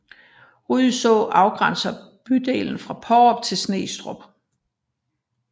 Rydså afgrænser bydelen fra Paarup og Snestrup